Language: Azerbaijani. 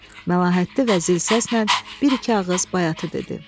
Məlahətli və zil səslə bir-iki ağız bayatı dedi.